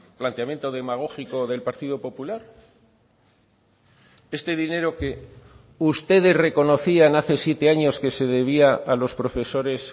planteamiento demagógico del partido popular este dinero que ustedes reconocían hace siete años que se debía a los profesores